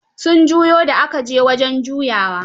Sun juyo da aka je wajen juyawa.